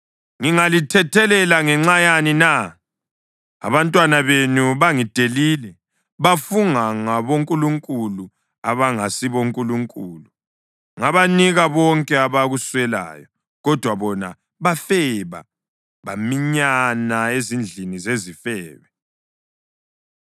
“Ngingalithethelela ngenxa yani na? Abantwana benu bangidelile, bafunga ngabonkulunkulu abangasibonkulunkulu, ngabanika konke abakuswelayo, kodwa bona bafeba baminyana ezindlini zezifebe.